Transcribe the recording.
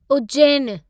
उज्जैनु